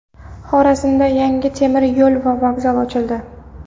Xorazmda yangi temir yo‘l va vokzal ochildi.